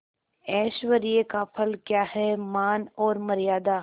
ऐश्वर्य का फल क्या हैमान और मर्यादा